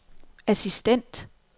assistent